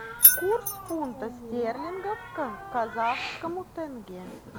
курс фунта стерлингов к казахскому тенге